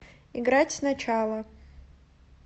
играть сначала